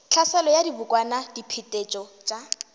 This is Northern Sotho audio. tlhaselo ya dibokwana diphetetšo tša